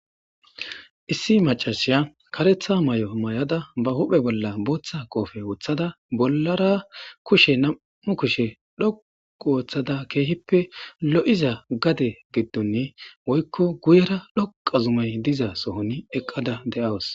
Issi macashiya karetha may'o may'ada ba huphe bolla booththa qoofe woththada bollara kushe nam'u kushe dhoqu ooththada keehippe lo7iza gade giddonne woykko guyera dhoqa zumay diza sohoni eqqada de'awus.